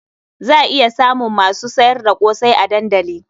Za iya samun masu sayar da ƙosai a dandali.